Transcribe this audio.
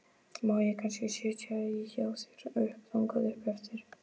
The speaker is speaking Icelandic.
Má ég kannski sitja í hjá þér þangað upp eftir?